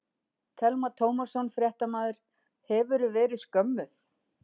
Telma Tómasson, fréttamaður: Hefurðu verið skömmuð?